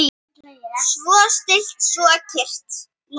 Svo stillt, svo kyrrt.